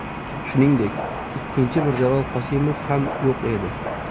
Shuningdek, ikkinchi Mirjalol Qosimov ham yo‘q edi.